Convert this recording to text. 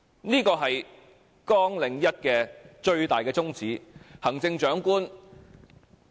這個是綱領1最大的宗旨。